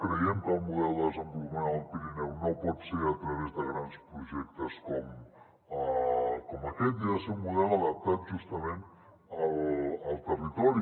creiem que el model de desenvolupament del pirineu no pot ser a través de grans projectes com aquest i ha de ser un model adaptat justament al territori